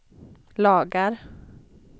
lagar